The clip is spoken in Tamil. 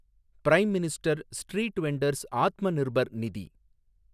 prime minister street vendors Atmanirbhar நிதி